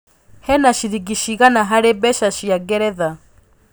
hena ciringi cĩgana harĩ mbeca cĩa ngeretha